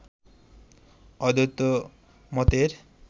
অদ্বৈত মতের